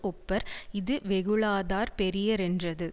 ஒப்பர் இது வெகுளாதார் பெரியரென்றது